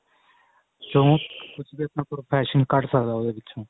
ਵਿਚੋ ਕੁੱਝ ਵੀ ਆਪਣਾ profession ਕੱਡ ਸਕਦਾ ਉਹਦੇ ਵਿਚੋ